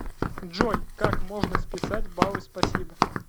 джой как можно списать баллы спасибо